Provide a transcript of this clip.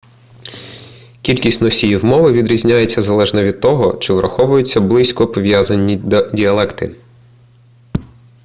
кількість носіїв мови відрізняється залежно від того чи враховуються близько пов'язані діалекти